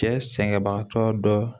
Cɛ sɛgɛnbagatɔ dɔ